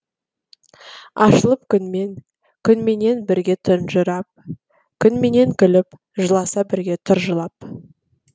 ашылып күнмен күнменен бірге тұнжырап күнменен күліп жыласа бірге тұр жылап